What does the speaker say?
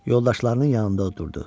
Yoldaşlarının yanında oturdu.